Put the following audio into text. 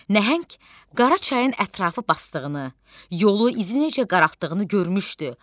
Nəhəng qara çayın ətrafı basdığını, yolu izi necə qaraltdığını görmüşdü.